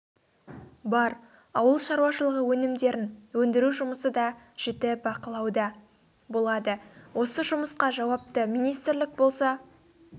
бар ауыл шаруашылығы өнімдерін өндіру жұмысы да жіті бақылауда болады осы жұмысқа жауапты министрлік болса